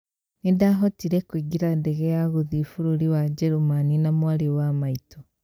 Nĩndahotire kũingĩra ndege ya gũthii bũrũri wa Gemany na mwarĩ wa maitũ